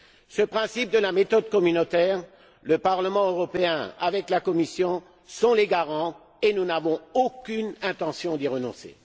Ce principe de la méthode communautaire, le Parlement européen, avec la Commission, en sont les garants et nous n'avons aucune intention d'y renoncer.